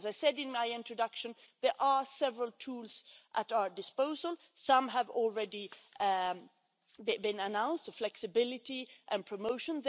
As I said in my introduction, there are several tools at our disposal. Some have already been announced flexibility and promotion.